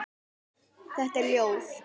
Þetta er ljóð.